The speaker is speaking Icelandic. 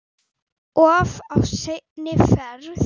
Of seinn á ferð?